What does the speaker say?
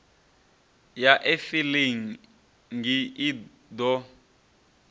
ya e filing i ḓo